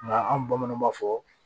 Nka an bamananw b'a fɔ